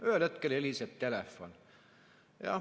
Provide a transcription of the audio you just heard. Ühel hetkel heliseb telefon.